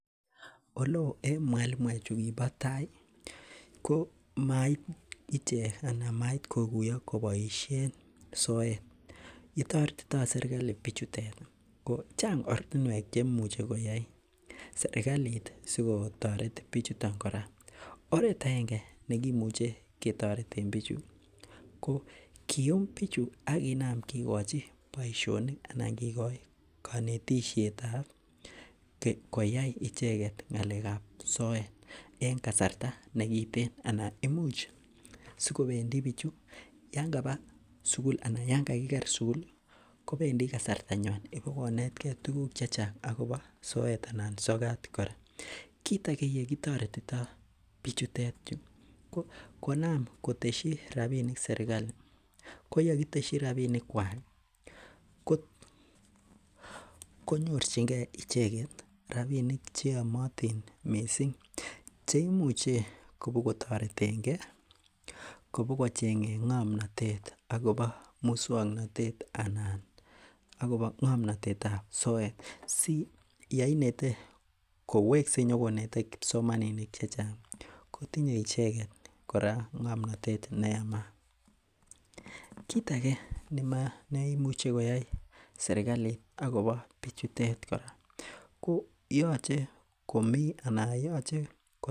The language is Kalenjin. Oleoo en mwalimu ko mait icheket koguyo kobaishien soet, yetaretito sirkali ko Chang oratuniek cheimuche koyai, serkalit ko bichuton kora , oret aenge yekimuche ketareten bichu ih , kium bichu akinaam kikochi kanetishietab koyai icheket ng'alekab soet en kasarta nekiten anan imuch sikobendi bichu Yoon kaba sugul anan Yoon kakiker sugul ih kobendii kasarta nyuan ibokonet tuguk chechang akoba soet anan sokat kora. Kit age yegitoretito bichu ko konaam koteshi rabinik serkali ko yakiteshi rabinik kuak ih konyorchige icheket rabinik cheyamatin missing cheimuche kobogo tareten ge ih kobogocheng'en ng'amnotet akoba muksuanatet anan akoba ng'amnotetab soet si yainete kowekse konyokonete kipsomaninik chechang tinye icheket ko tinye icheket ng'amnotet neyamaat. Kit age neimuch koyai serkalit agobo bichutet kora koyache komi anan yoche komi.